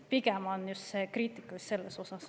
Pigem on kriitika just selle kohta.